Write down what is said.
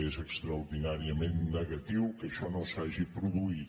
és extraordinàriament negatiu que això no s’hagi produït